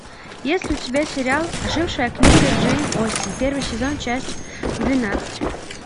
есть ли у тебя сериал ожившая книга джейн остин первый сезон часть двенадцать